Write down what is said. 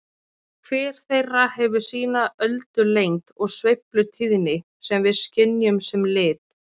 Hver þeirra hefur sína öldulengd og sveiflutíðni sem við skynjum sem lit.